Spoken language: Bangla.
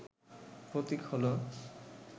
প্রতীক হল